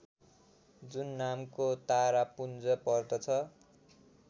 जुन नामको तारापुञ्ज पर्दछ